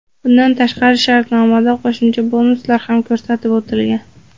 Bundan tashqari shartnomada qo‘shimcha bonuslar ham ko‘rsatib o‘tilgan.